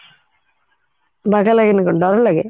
ବାଗ ଲାଗେନି ବୋଲି ଡରଲାଗେ